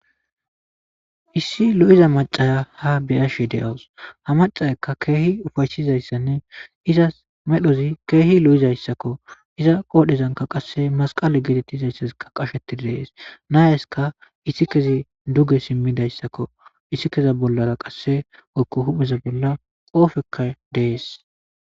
Issi lo'iza macaya ha beyashe de'awus ha macayaka keha ufaysizsnne izis medhozi kehi lo'izaysako iza qodhezanka qaseka masqale getetizaysi qasheti des nayisika isikezi duge alidaysako isikeza bolla woykon hupheza bolla qopeyka de'es